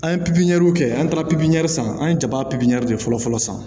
An ye pipiniyɛriw kɛ an taara pipiniyɛri sanfɛ an ye jaba pipiniyɛri de fɔlɔ fɔlɔ san